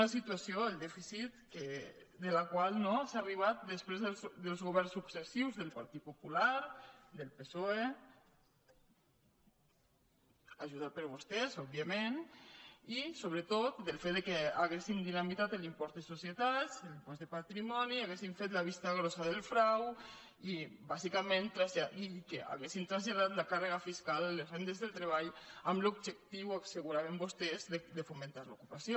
una situació el dèficit a la qual no s’ha arribat després dels governs successius del partit popular del psoe ajudats per vostès òbviament i sobretot del fet que haguessin dinamitat l’impost de societat l’impost de patrimoni haguessin fet la vista grossa del frau i bàsicament que haguessin traslladat la càrrega fiscal a les rendes del treball amb l’objectiu asseguraven vostès de fomentar l’ocupació